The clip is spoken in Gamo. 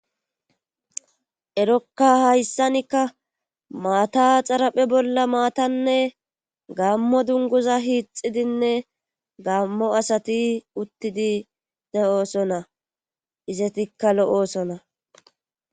erokka hayssankka maata xaraphe bolla maatanne gaammo dunguza hiixidinne gaammo asati uttidi de7oosona izetikka lo7oosona